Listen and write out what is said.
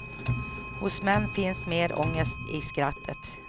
Hos män finns mer ångest i skrattet.